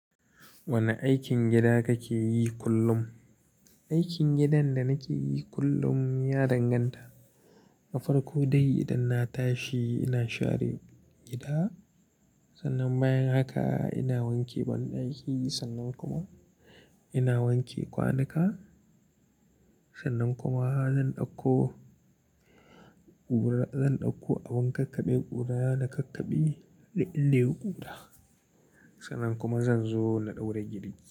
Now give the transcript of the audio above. Wane aikin gida kake yi kullum? Aikin gidan da nake yi kullum ya danganta. Na farko dai idan na tashi, ina share gida. Sannan bayan haka ina wanke banɗaki. Sannan kuma ina wanke kwanuka. Sannan kuma zan ɗauko ƙura, zan ɗauko abin kakkaɓe ƙuraya da kakkaɓe da illin ƙura. Sannan kuma zan zo na ɗaura giri.